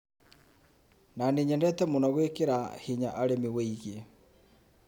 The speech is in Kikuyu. Nanie nyendete mũno gwĩkĩra hinya arĩmi wĩgie